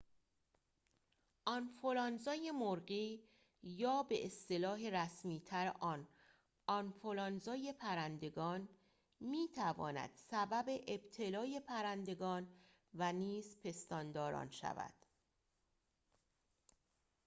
آنفولانزای مرغی یا به‌اصطلاح رسمی‌تر آن آنفولانزای پرندگان می‌تواند سبب ابتلای پرندگان و نیز پستانداران شود